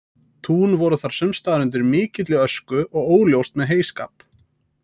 Tún voru þar sumstaðar undir mikilli ösku og óljóst með heyskap.